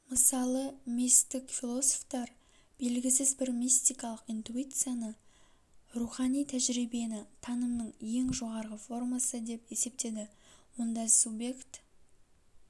мысалы мистік философтар белгісіз бір мистикалык интуицияны рухани тәжірибені танымның ең жоғарғы формасы деп есептеді онда субъект